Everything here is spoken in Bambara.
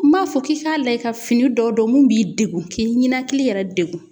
N m'a fɔ k'i k'a lajɛ ka fini dɔ don mun b'i degun, k'i ninakili yɛrɛ degun.